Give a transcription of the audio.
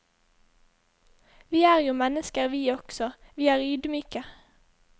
Vi er jo mennesker vi også, vi er ydmyke.